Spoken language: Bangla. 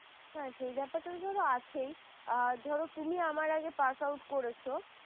ধরে আছে ধরো তুমি আমার আগে pass out করেছ?